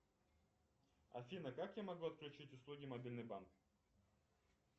афина как я могу отключить услуги мобильный банк